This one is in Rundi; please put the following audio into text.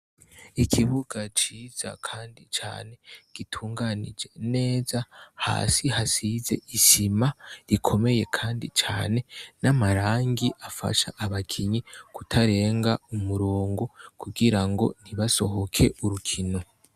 Ikibuga ciza kandi cane gitunganije neza hasi hasize isima ikomeye kandi cane n'amarangi afasha abakinyi kutarenga umurongo kugirango ntibasohoke urukino.